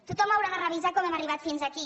tothom haurà de revisar com hem arribat fins aquí